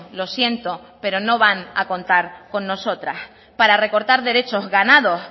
lo siento pero no van a contar con nosotras para recortar derechos ganados